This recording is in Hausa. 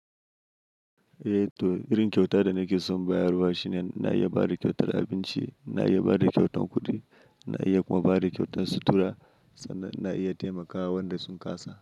Eh to irin kyauta da nake so in bayarwa shine na iya bada kyautar abinci, na iya bada kyautan kuɗi, na iya kuma bada kyautan sutura sannan na iya taimakawa wadanda sun kasa.